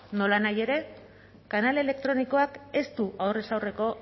nolanahi ere kanal elektronikoak ez du aurrez aurreko